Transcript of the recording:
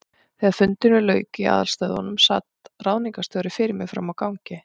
Þegar fundinum lauk í aðalstöðvunum, sat ráðningarstjóri fyrir mér frammi á gangi.